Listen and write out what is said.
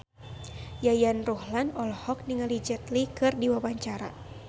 Yayan Ruhlan olohok ningali Jet Li keur diwawancara